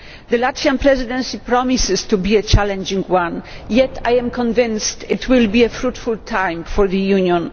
The Latvian Presidency promises to be a challenging one, yet I am convinced it will be a fruitful time for the Union.